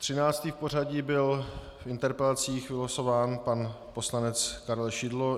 Třináctý v pořadí byl v interpelacích vylosován pan poslanec Karel Šidlo.